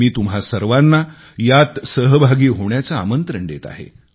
मी तुम्हा सर्वांना यात सहभागी होण्याचे आमंत्रण देत आहे